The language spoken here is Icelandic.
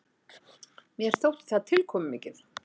Mér þótti það tilkomumikið.